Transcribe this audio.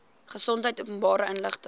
gesondheid openbare inligting